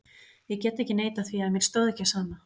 Ég get ekki neitað því að mér stóð ekki á sama.